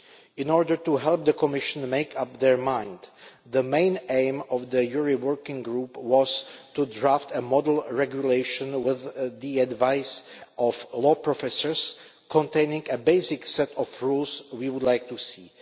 In order to help the Commission to make up its mind, the main aim of the JURI Committee working group was to draft a model regulation, with the advice of law professors, containing a basic set of the rules we would like to see.